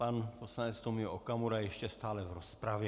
Pan poslanec Tomio Okamura ještě stále v rozpravě.